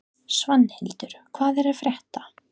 Svanhildur, hvað er að frétta?